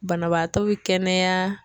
Banabaatɔ be kɛnɛya